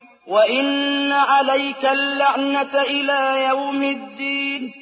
وَإِنَّ عَلَيْكَ اللَّعْنَةَ إِلَىٰ يَوْمِ الدِّينِ